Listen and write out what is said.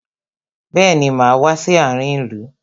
Bẹẹni, máa wá sí àárin ìlú.